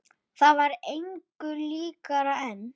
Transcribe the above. Það var engu líkara en